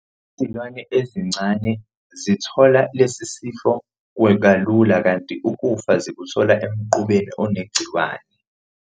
Izilwane ezincane zithola lesi sifo kalula kanti ukufa zikuthola emqubeni onegciwane.